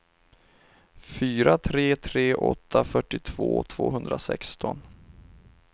fyra tre tre åtta fyrtiotvå tvåhundrasexton